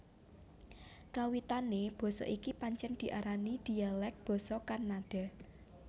Kawitané basa iki pancèn diarani dhialèk basa Kannada